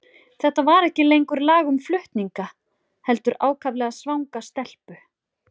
Þetta var ekki lengur lag um flutninga, heldur ákaflega svanga stelpu.